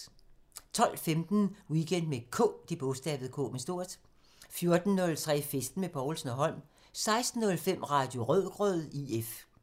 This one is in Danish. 12:15: Weekend med K 14:03: Festen med Povlsen & Holm 16:05: Radio Rødgrød IF